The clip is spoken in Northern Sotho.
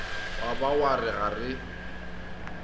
ba wa re ga re